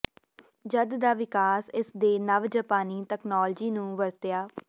ਜਦ ਦਾ ਵਿਕਾਸ ਇਸ ਦੇ ਨਵ ਜਪਾਨੀ ਤਕਨਾਲੋਜੀ ਨੂੰ ਵਰਤਿਆ